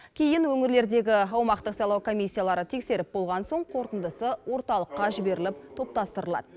кейін өңірлердегі аумақтық сайлау комиссиялары тексеріп болған соң қорытындысы орталыққа жіберіліп топтастырылады